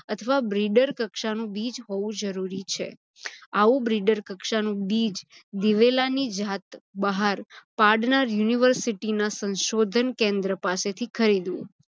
અથવા breeder કક્ષાનું બીજ હોવું જરુરી છે. આવુ breeder કક્ષાનું બીજ દિવેલાની જાત બહાર પાડનાર university ના સંશોધન કેન્દ્ર પાસેથી ખરીદવું